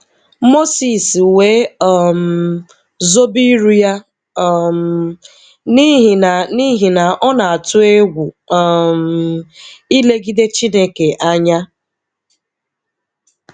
Moses we um zobe iru ya; um n'ihi na n'ihi na ọ na-atụ egwu um ilegide Chineke anya.